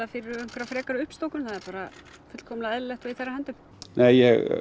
fyrir einhverjar frekari uppstokkun það er bara fullkomlega eðlilegt og í þeirra höndum nei